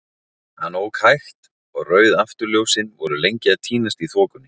Hann ók hægt, og rauð afturljósin voru lengi að týnast í þokunni.